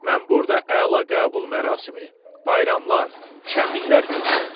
Mən burada əla qəbul mərasimi, bayramlar, şənliklər gözləyirdim.